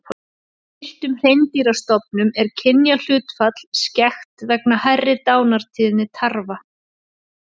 Í villtum hreindýrastofnum er kynjahlutfall skekkt vegna hærri dánartíðni tarfa.